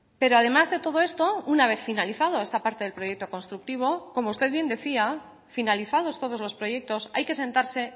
pero además de todo esto una vez finalizado esta parte del proyecto constructivo como usted bien decía finalizados todos los proyectos hay que sentarse